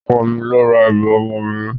Ọkọ mi ló ra ẹrù ọmọ mi